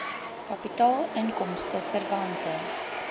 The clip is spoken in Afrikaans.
kapitaal inkomste verwante